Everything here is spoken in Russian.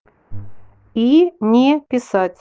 и не писать